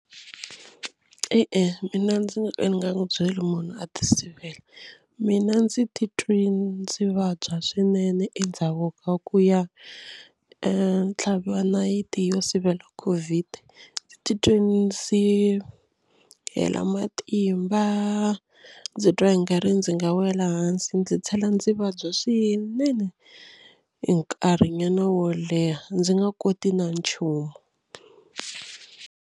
E-e mina ndzi nga ka ndzi nga n'wi byela munhu a tisivela. Mina ndzi titwe ndzi vabya swinene endzhaku ka ku ya tlhaviwa nayiti yo sivela Covid ndzi titwe ndzi hela matimba ndzi twa i nga ri ndzi nga wela hansi. Ndzi tlhela ndzi vabya swinene nkarhinyana wo leha ndzi nga koti na nchumu.